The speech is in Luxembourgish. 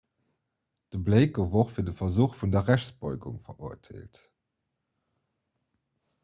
de blake gouf och fir de versuch vun der rechtsbeugung verurteelt